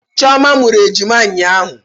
Chioma mụrụ ejima ụnyahụ